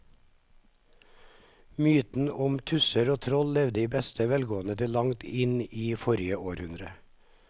Mytene om tusser og troll levde i beste velgående til langt inn i forrige århundre.